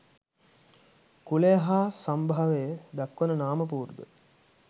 කුලය හා සම්භවය දක්වන නාම පුවරුද